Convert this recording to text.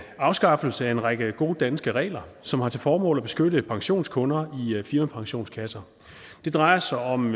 afskaffelse af en række gode danske regler som har til formål at beskytte pensionskunder i firmapensionskasser det drejer sig om